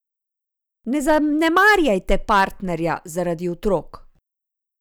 Ne zanemarjajte partnerja zaradi otrok!